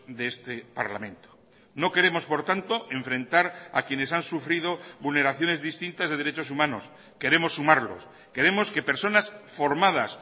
de este parlamento no queremos por tanto enfrentar a quienes han sufrido vulneraciones distintas de derechos humanos queremos sumarlos queremos que personas formadas